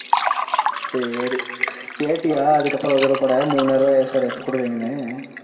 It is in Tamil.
சரி, கேட்டியா அதுக்கு அப்புறம் ஒரு தடவ கூட மூணாயிர ரூபாய் ஏன் sir எப்ப கொடுக்கறீங்கன்னு?